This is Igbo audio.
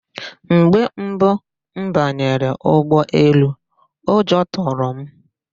Mgbe mbụ m banyere ụgbọelu, ụjọ tụrụ m.